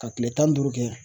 Ka kile tan ni duuru kɛ